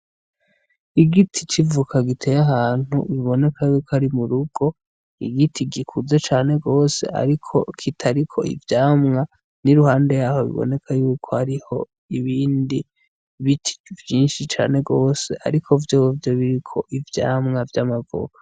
Igiti c'ivoka giteye ahantu biboneka yuko ari mu rugo igiti gikuze cane gose ariko kitariko ivyamwa niruhande yaho biboneka yuko hariho ibindi biti vyinshi cane gose ariko vyovyo biriko ivyamwa vy'amavoka.